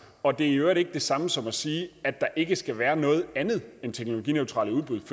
og det er i øvrigt ikke det samme som at sige at der ikke skal være noget andet end teknologineutrale udbud